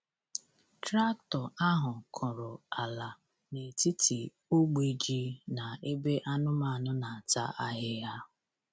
Traktọ ahụ kụrụ ala n’etiti ogbe ji na ebe anụmanụ na-ata ahịhịa.